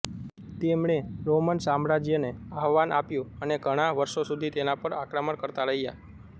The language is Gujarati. તમણે રોમન સામ્રાજ્યને આહવાન આપ્યું અને ઘણાં વર્ષો સુધી તેના પર આક્રમણ કરતા રહ્યાં